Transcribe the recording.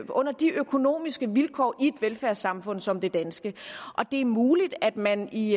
under de økonomiske vilkår i et velfærdssamfund som det danske det er muligt at man i